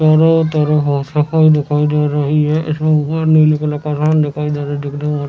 चारो तरफ सफाई दिखाई दे रही है इसमें ऊपर नीले कलर का आसमान दिखाई दे रहा है ।